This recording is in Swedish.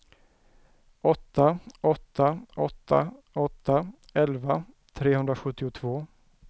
åtta åtta åtta åtta elva trehundrasjuttiotvå